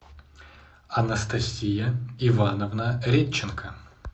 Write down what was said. анастасия ивановна редченко